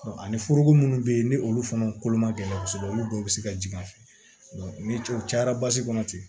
Ani foroko minnu bɛ yen ni olu fana kolo ma gɛlɛ kosɛbɛ olu dɔw bɛ se ka jigin a fɛ ni cɛw cayara basi kɔnɔ ten